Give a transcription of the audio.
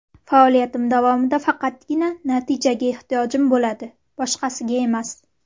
Faoliyatim davomida faqatgina natijaga ehtiyojim bo‘ladi, boshqasiga emas.